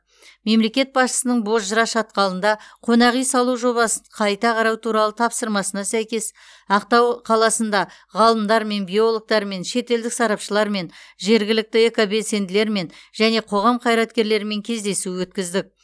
мемлекет басшысының бозжыра шатқалында қонақ үй салу жобасын қайта қарау туралы тапсырмасына сәйкес ақтау қаласында ғалымдармен биологтармен шетелдік сарапшылармен жергілікті экобелсенділермен және қоғам қайраткерлерімен кездесу өткіздік